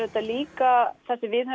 líka það sem við